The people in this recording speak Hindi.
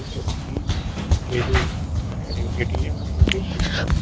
ए पोस्ट की ये जो अ ए ए_टी_एम है ये रेड कलर का --